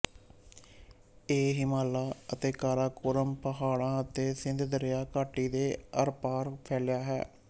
ਇਹ ਹਿਮਾਲਾ ਅਤੇ ਕਾਰਾਕੋਰਮ ਪਹਾੜਾਂ ਅਤੇ ਸਿੰਧ ਦਰਿਆ ਘਾਟੀ ਦੇ ਆਰਪਾਰ ਫੈਲਿਆ ਹੈ